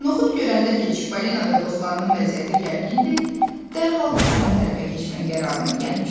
Noxud görəndə ki, Çipollino və dostlarının vəziyyəti gərgindir, dərhal düşmən tərəfə keçməyə qərarına gəlmişdi.